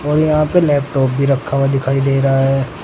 और यहां पे लैपटॉप भी रखा हुआ दिखाई दे रहा है।